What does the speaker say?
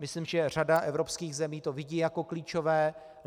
Myslím, že řada evropských zemí to vidí jako klíčové.